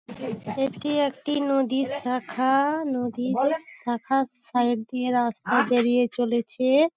এটি একটি নদীর শাখা-আ নদীর শাখাস সাইড দিয়ে রাস্তা বেরিয়ে চলেছে।